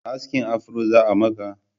Askin afro za'a maka?